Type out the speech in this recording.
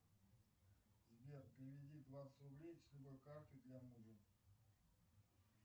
сбер переведи двадцать рублей с любой карты для мужа